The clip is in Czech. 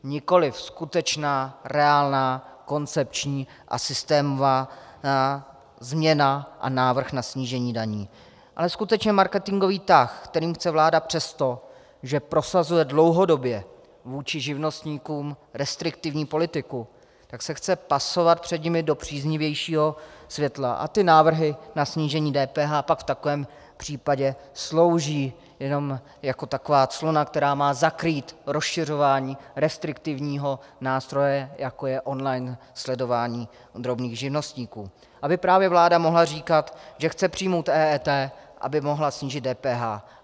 Nikoliv skutečná, reálná, koncepční a systémová změna a návrh na snížení daní, ale skutečně marketingový tah, který chce vláda přesto, že prosazuje dlouhodobě vůči živnostníkům restriktivní politiku, tak se chce pasovat před nimi do příznivějšího světla a ty návrhy na snížení DPH pak v takovém případě slouží jenom jako taková clona, která má zakrýt rozšiřování restriktivního nástroje, jako je online sledování drobných živnostníků, aby právě vláda mohla říkat, že chce přijmout EET, aby mohla snížit DPH.